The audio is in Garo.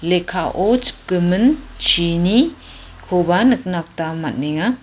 lekkao chipgimin chini koba nikna gita man·enga.